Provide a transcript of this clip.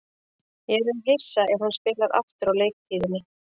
Ég yrði hissa ef hann spilar aftur á leiktíðinni.